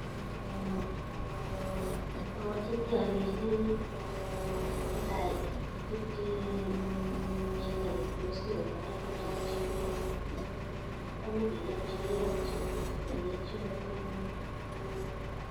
Amwachini alechini netai koprichi chito netos nyokotaret kochopchi bek atya keratichi angeratchi komie